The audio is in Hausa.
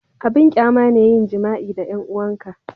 abin ƙyama ne yin jima'i da 'yan 'uwan ka